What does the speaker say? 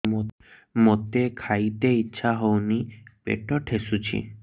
ମୋତେ ଖାଇତେ ଇଚ୍ଛା ହଉନି ପେଟ ଠେସୁଛି